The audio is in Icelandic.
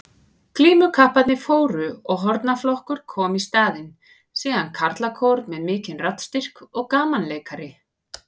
Glímukapparnir fóru og hornaflokkur kom í staðinn, síðan karlakór með mikinn raddstyrk og gamanleikari.